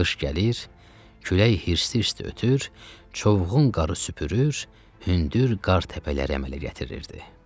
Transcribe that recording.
Qış gəlir, külək hirsli-hirsli ötür, çovğun qarı süpürür, hündür qar təpələr əmələ gətirirdi.